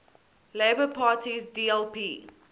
labour party sdlp